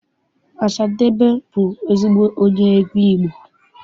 Ọsadebe bụ ezigbo onye egwu Igbo.